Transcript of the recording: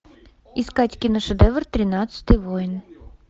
искать киношедевр тринадцатый воин